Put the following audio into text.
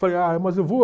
Falei, ai, mas eu vou.